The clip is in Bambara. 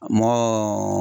Mɔgɔ